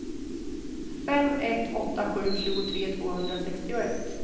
fem ett åtta sju tjugotre tvåhundrasextioett